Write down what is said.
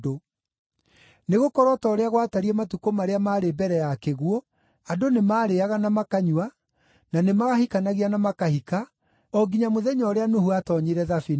Nĩgũkorwo o ta ũrĩa gwatariĩ matukũ marĩa maarĩ mbere ya kĩguũ, andũ nĩmarĩĩaga na makanyua, na nĩmahikanagia na makahika, o nginya mũthenya ũrĩa Nuhu aatoonyire thabina;